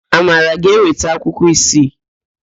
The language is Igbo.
Amara ga-eweta akwụkwọ isii.